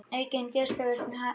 Aukin geislavirkni í hafi